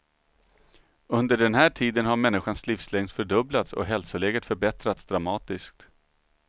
Under den här tiden har människans livslängd fördubblats och hälsoläget förbättrats dramatiskt.